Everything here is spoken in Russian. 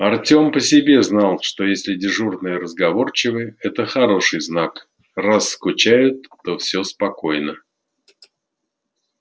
артем по себе знал что если дежурные разговорчивы это хороший знак раз скучают то все спокойно